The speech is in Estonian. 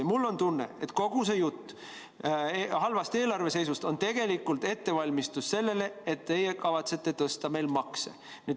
Ja mul on tunne, et kogu see jutt halvast eelarveseisust on tegelikult ettevalmistus selleks, et teie kavatsete tõsta meil makse.